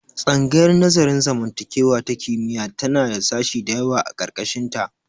Tsangayar nazarin zamantakewa ta kimiyya tana da sashi dayawa a ƙarƙashin ta.